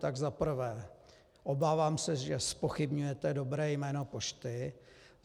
Tak za prvé, obávám se, že zpochybňujete dobré jméno pošty.